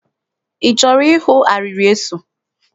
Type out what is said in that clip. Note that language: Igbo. Ị chọrọ ịhụ arịrị eso?